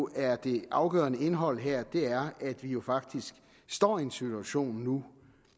er det afgørende indhold her er at vi jo faktisk står i en situation nu